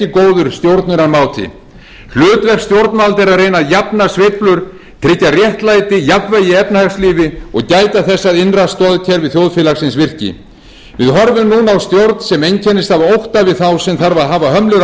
er að reyna að jafna sveiflur tryggja réttlæti jafnvægi í efnahagslífi og gæta þess að innra stoðkerfi þjóðfélagsins virki við horfum núna á stjórn sem einkennist af ótta við þá sem þarf að hafa hömlur á